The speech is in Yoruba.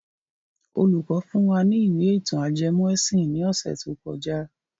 Olùkọ́ fún wa ní ìwé ìtàn ajẹmọ́ ẹ̀sìn ní ọ̀sẹ̀ tó kọjá.